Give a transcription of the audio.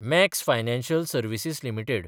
max Financial Services limited